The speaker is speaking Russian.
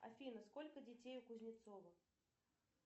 афина сколько детей у кузнецова